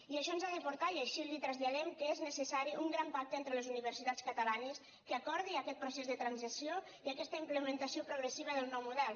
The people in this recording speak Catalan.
i això ens ha de portar i així li ho traslladem al fet que és necessari un gran pacte entre les universitats catalanes que acordi aquest procés de transició i aquesta implementació progressiva del nou model